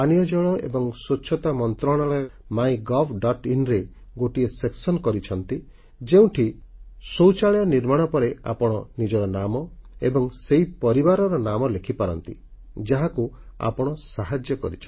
ପାନୀୟ ଜଳ ଏବଂ ସ୍ୱଚ୍ଛତା ମନ୍ତ୍ରଣାଳୟ ଦ୍ୱାରା MyGovଆଇଏନ ରେ ଗୋଟିଏ ସେକ୍ସନ ସୃଷ୍ଟି କରିଛନ୍ତି ଯେଉଁଠି ଶୌଚାଳୟ ନିର୍ମାଣ ପରେ ଆପଣ ନିଜର ନାମ ଏବଂ ସେହି ପରିବାରର ନାମ ଲେଖିପାରନ୍ତି ଯାହାକୁ ଆପଣ ସାହାଯ୍ୟ କରିଛନ୍ତି